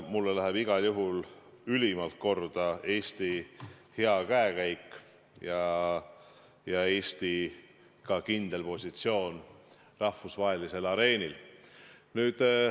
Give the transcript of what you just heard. Mulle läheb igal juhul ülimalt korda Eesti hea käekäik ja ka Eesti kindel positsioon rahvusvahelisel areenil.